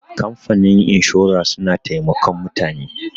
kamfanin inshora suna taimakon mutane